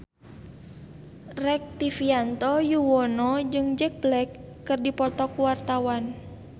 Rektivianto Yoewono jeung Jack Black keur dipoto ku wartawan